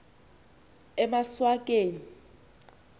emaswakeni